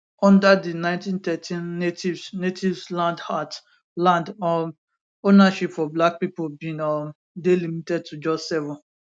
under di 1913 natives natives land act land um ownership for black pipo bin um dey limited to just 7